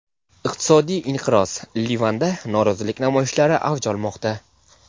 Iqtisodiy inqiroz: Livanda norozilik namoyishlari avj olmoqda.